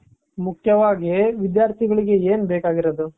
ಮುಖ್ಯವಾಗಿ ವಿಧ್ಯಾರ್ಥಿಗಳಿಗೆ ಏನ್ ಬೇಕಾಗಿರೋದು .